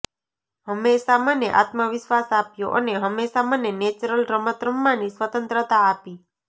હંમેશાં મને આત્મવિશ્વાસ આપ્યો અને હંમેશા મને નેચરલ રમત રમવાની સ્વતંત્રતા આપી